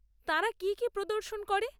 তাঁরা কী কী প্রদর্শন করে?